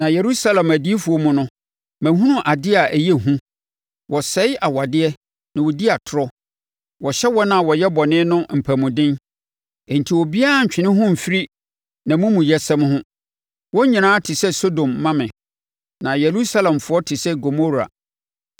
Na Yerusalem adiyifoɔ mu no mahunu adeɛ a ɛyɛ hu: Wɔsɛe awadeɛ na wɔdi atorɔ. Wɔhyɛ wɔn a wɔyɛ bɔne no mpamuden, enti obiara nntwe ne ho mfiri nʼamumuyɛsɛm ho. Wɔn nyinaa te sɛ Sodom ma me; na Yerusalemfoɔ te sɛ Gomora.”